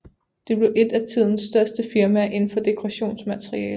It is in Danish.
Det blev et af tidens største firmaer inden for dekorationsmaleri